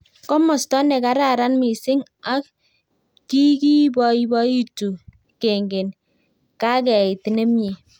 Komasta ne kararan mising ak kikiboiboitu kengen kakeit nemie